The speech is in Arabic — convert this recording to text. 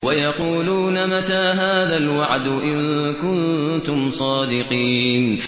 وَيَقُولُونَ مَتَىٰ هَٰذَا الْوَعْدُ إِن كُنتُمْ صَادِقِينَ